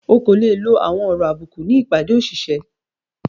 Ọ́ kò le lọ àwọn ọ̀rọ̀ àbúkù ní ìpádé òṣìṣẹ.